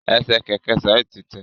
Ẹsẹ kẹkẹ Saeed ti tẹ.